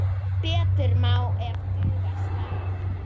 Fallegu brúnu augun þín.